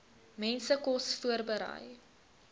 mense kos voorberei